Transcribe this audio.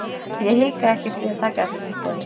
Ég hikaði ekkert við að taka þessu tilboði.